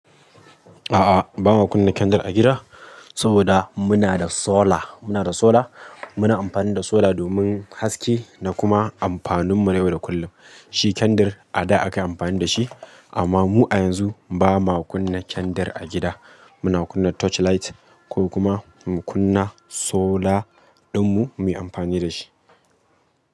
A'a, ba ma kunna kendir a gida saboda muna da solar. Muna da solar, muna amfani da solar domin haske da kuma amfanin mu na yau da kullum. Shi kendir a da akayi amfani da shi amma mu a yanzu ba ma kunna kendir a gida. Muna kunna torchlight ko kuma mu kunna solar dinmu muyi amfani da shi.